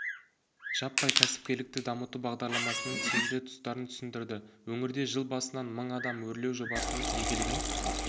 жаппай кәсіпкерлікті дамыту бағдарламасының тиімді тұстарын түсіндірді өңірде жыл басынан мың адам өрлеу жобасының игілігін